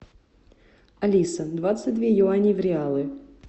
алиса двадцать две юани в реалы